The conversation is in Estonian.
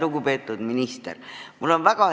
Lugupeetud minister!